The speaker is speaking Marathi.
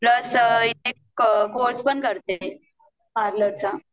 प्लस एक कोर्स पण करते पार्लर चा